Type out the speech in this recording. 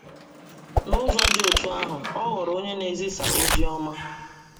N’ụzọ dị otú ahụ, ọ ghọrọ onye na - ezisa ozi ọma.